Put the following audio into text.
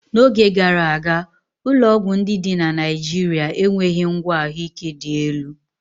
N'oge gara aga, ụlọọgwụ ndị dị na Naịjirịa enweghị ngwa ahụike dị elu.